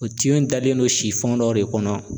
O in talen don dɔ de kɔnɔ